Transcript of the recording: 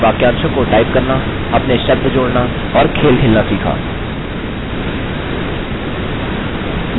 इस ट्यूटोरियल में हमनें वाक्यांशों को टाइप करना अपने शब्द जोड़ना और खेल खेलना सीखा